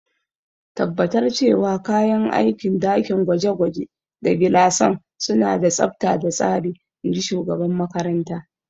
Tabbatar cewa kayan aikin dakin gwaje-gwaje da gilasan suna da tsabta da tsari, in ji shugaban makarantar.